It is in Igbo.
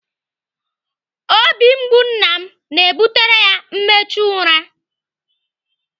Obi mgbu nna m na-ebutere ya mmechu ụra.